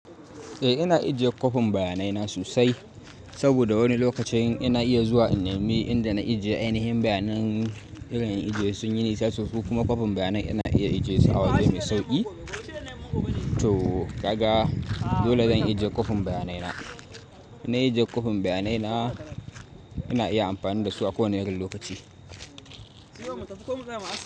Eh ina ajiye kwafin bayanai na sosai, saboda wani lokacin ina iya zuwa in nemi inda na ajiye. Ainihin bayanan irin ijiye sun yi nisa sosai ko kuma kwafin bayanai ina iya ajiye su a waje mai sauƙi. To kaga, dole zan ajiye kwafin bayanai na. Ina ajiye kwafin bayanai na, ina iya amfani da su a ko wane irin lokaci.